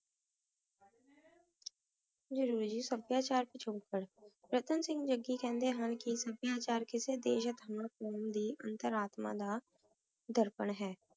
ਜ਼ਰੂਰੀ ਸਭ੍ਯ ਚਾਰ ਤੇ ਸ਼ੋਕਾਂ ਰਾਤਾਂ ਸਿੰਘ ਜੱਗੀ ਕੇਹ੍ਨ੍ਡੇ ਹਨ ਕੇ ਸਭ੍ਯਾਚਾਰ ਕਿਸੇ ਦੇਸ਼ ਯਾ ਕ਼ੋਉਮ ਦੀ ਅੰਤਰ ਆਤਮਾ ਦਾ ਦਰ੍ਪਣ ਹੈ